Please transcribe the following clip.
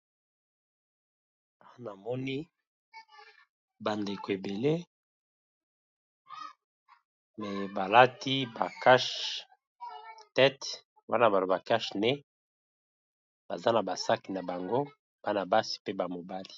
Awa namoni bandeko ebele maye balati ba kash tete wana bato ba cash ne baza na basak na bango bana basi pe ba mobali.